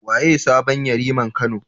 Waye sabon Yariman Kano?